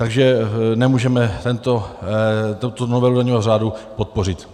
Takže nemůžeme tuto novelu daňového řádu podpořit.